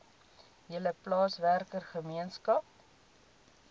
hele plaaswerker gemeenskap